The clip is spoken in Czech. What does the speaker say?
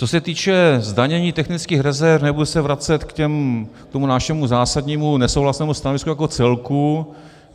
Co se týče zdanění technických rezerv, nebudu se vracet k tomu našemu zásadnímu nesouhlasnému stanovisku jako celku.